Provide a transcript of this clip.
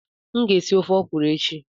M ga-esi ofe ọkwuru echi.